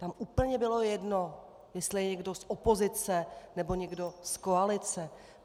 Tam úplně bylo jedno, jestli je někdo z opozice nebo někdo z koalice.